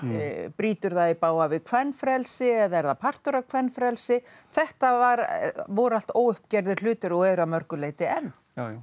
brýtur það í bága við kvenfrelsi eða er það partur af kvenfrelsi þetta voru allt óuppgerðir hlutir og eru að mörgu leyti enn